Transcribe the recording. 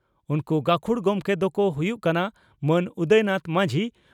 ᱩᱱᱠᱩ ᱜᱟᱹᱠᱷᱩᱲ ᱜᱚᱢᱠᱮ ᱫᱚᱠᱚ ᱦᱩᱭᱩᱜ ᱠᱟᱱᱟ ᱺᱼ ᱢᱟᱱ ᱩᱫᱚᱭ ᱱᱟᱛᱷ ᱢᱟᱡᱷᱤ